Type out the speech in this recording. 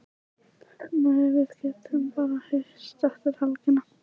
Nei, við getum bara hist eftir helgina.